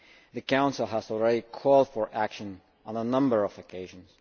the Council has already called for action on a number of occasions.